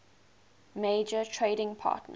major trading partners